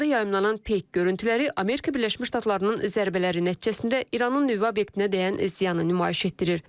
Bu arada yayımlanan peyk görüntüləri Amerika Birləşmiş Ştatlarının zərbələri nəticəsində İranın nüvə obyektinə dəyən ziyanı nümayiş etdirir.